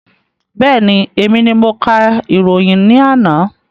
Bẹ́ẹ̀ni, èmi ni mo ka ìròyìn ní àná